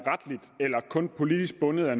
bundet er